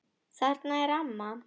Þarna er amma!